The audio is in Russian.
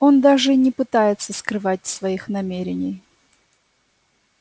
он даже и не пытается скрывать своих намерений